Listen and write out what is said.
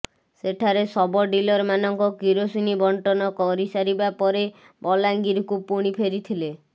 ସେଠାରେ sub dealer ମାନଙ୍କ କିରୋସିନି ବଣ୍ଟନ କରିସାରିବା ପରେ ବଲାଙ୍ଗିର କୁ ପୁଣି ଫେରିଥିଲେ